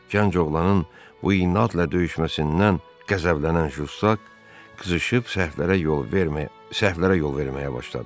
Gənc oğlanın bu inadla döyüşməsindən qəzəblənən Juşak qızışıb səhvlərə yol verməyə başladı.